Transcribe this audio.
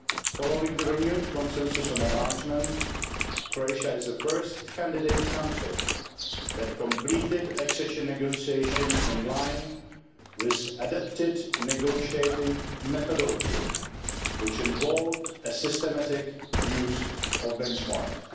Following the renewed consensus on enlargement, Croatia is the first candidate country to have completed accession negotiations in line with an adapted negotiating methodology, which involved a systematic use of benchmarks.